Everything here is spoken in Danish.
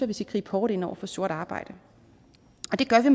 vi skal gribe hårdt ind over for sort arbejde